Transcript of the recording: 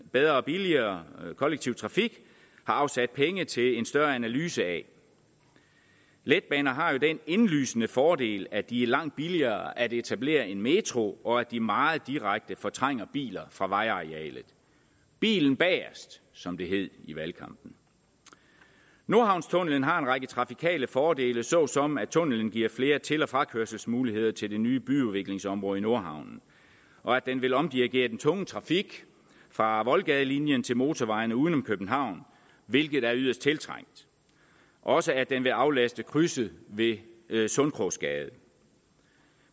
bedre og billigere kollektiv trafik har afsat penge til en større analyse af letbaner har jo den indlysende fordel at de er langt billigere at etablere end metro og at de meget direkte fortrænger biler fra vejarealet bilen bagest som det hed i valgkampen nordhavnstunnelen har en række trafikale fordele såsom at tunnelen giver flere til og frakørselsmuligheder til det nye byudviklingsområde i nordhavn og at den vil omdirigere den tunge trafik fra voldgadelinjen til motorvejene uden om københavn hvilket er yderst tiltrængt og også at den vil aflaste krydset ved ved sundkrogsgade